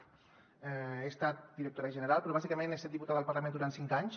he estat directora general però bàsicament he estat diputada al parlament durant cinc anys